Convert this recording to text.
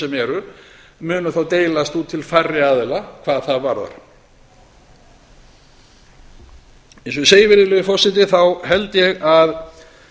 sem eru munu þá deilast út til færri aðila hvað það varðar eins og ég segi virðulegi forseti held ég að